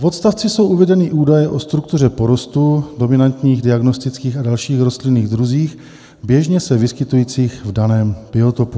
V odstavci jsou uvedeny údaje o struktuře porostů, dominantních, diagnostických a dalších rostlinných druzích běžně se vyskytujících v daném biotopu.